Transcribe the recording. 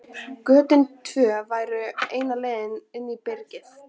Götin tvö voru eina leiðin inn í byrgið.